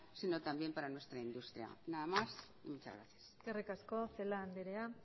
sino también para nuestra industria nada más muchas gracias eskerrik asko celaá andrea